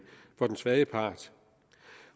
for den svage part